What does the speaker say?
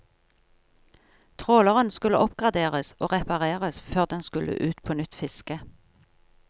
Tråleren skulle oppgraderes og repareres før den skulle ut på nytt fiske.